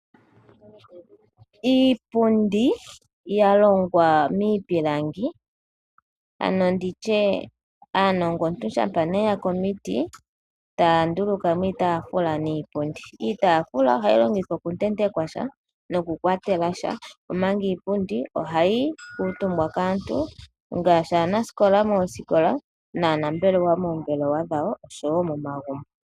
Iipundi yalongwa miipilangi ano nditye aanilongontu shampa yaku omiti taya ndulukamo iitaafula niipundi. Iitaafula ohayi longithwa okuntentekwa sha noku kwatela sha omanga iipundi ohayi kuutumbwa kaantu ngaashi aanasikola moosikola, aanambelewa moombelewa dho wo nosho woo momagumbo.